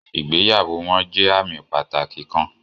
Ìgbéyàwó wọn jẹ àmì pàtàkì kàn